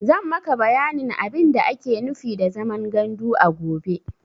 Zan maka bayanin abin da ake nufi da zaman gandu a gobe.